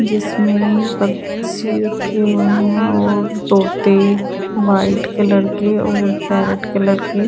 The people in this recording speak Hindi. जिसमें बक्से रखे हुए हैं और तोते व्हाईट कलर के और रेड कलर के--